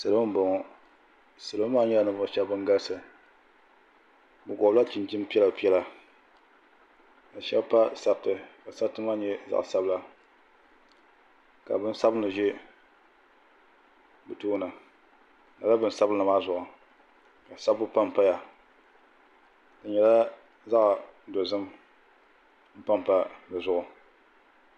Salo n bɔŋo salo maa nyɛla ninvuɣu shɛba bin galisi bi gɔbi la chinchin piɛla ka shɛba pa sariti ka sariti maa nyɛ zaɣa sabila ka bin sabinli ʒɛ bi tooni lala bin sabinli maa zuɣu ka sabbu pa n paya di nyɛla zaɣa dozim n pa n pa di zuɣu.